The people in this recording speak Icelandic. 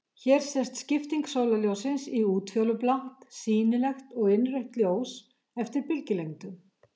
Hér sést skipting sólarljóssins í útfjólublátt, sýnilegt og innrautt ljós, eftir bylgjulengdum.